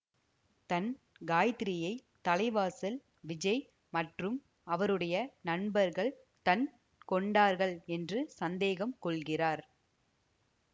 தன் காயத்திரியை தலைவாசல் விஜய் மற்றும் அவருடைய நண்பர்கள் தன் கொண்டார்கள் என்று சந்தேகம் கொள்கிறார்